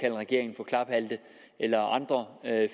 en regering for klaphatte eller andre